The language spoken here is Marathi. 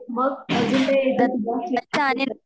मग अजून ते